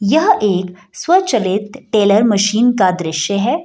यह एक स्वचलित टेलर मशीन का दृश्य है ।